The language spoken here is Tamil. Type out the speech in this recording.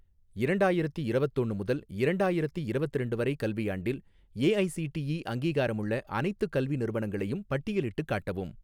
ரெண்டாயிரத்தி இரவத்தொன்னு முதல் ரெண்டாயிரத்தி இரவத்திரண்டு வரை கல்வியாண்டில் ஏஐஸிடிஇ அங்கீகாரமுள்ள அனைத்துக் கல்வி நிறுவனங்களையும் பட்டியலிட்டுக் காட்டவும்